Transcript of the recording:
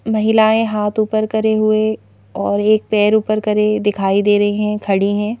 महिलाएं हाथ ऊपर करे हुए और एक पैर ऊपर करे दिखाई दे रही हैं खड़ी हैं।